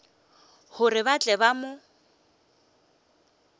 gore ba tle ba mo